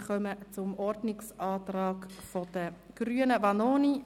Wir kommen zum Ordnungsantrag von Bruno Vanoni, Grüne: